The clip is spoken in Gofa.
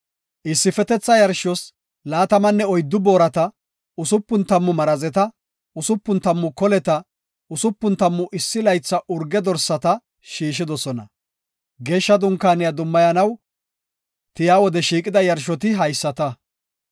Issifetetha yarshos laatamanne oyddu boorati, usupun tammu marazeta, usupun tammu koleta, usupun tammu issi laytha urge dorsata shiishidosona. Geeshsha Dunkaaniya dummayanaw tiya wode shiiqida yarshoti haysata.